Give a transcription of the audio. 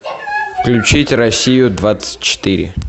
включить россию двадцать четыре